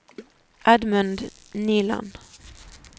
Edmund Nyland